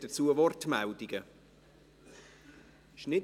Gibt es Wortmeldungen dazu?